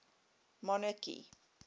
monarchy